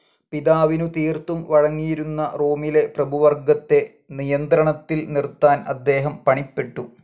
പിതാവിനു തീർത്തും വഴങ്ങിയിരുന്ന റോമിലെ പ്രഭുവർഗ്ഗത്തെ നിയന്ത്രണത്തിൽ നിർത്താൻ അദ്ദേഹം പണിപ്പെട്ടു.